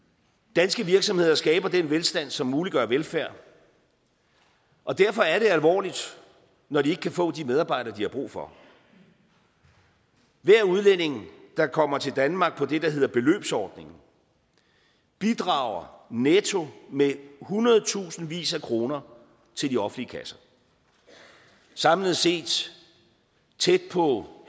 danske virksomheder skaber den velstand som muliggør velfærd og derfor er det alvorligt når de ikke kan få de medarbejdere de har brug for hver udlænding der kommer til danmark på det der hedder beløbsordningen bidrager netto med hundredtusindvis af kroner til de offentlige kasser samlet set tæt på